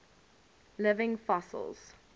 living fossils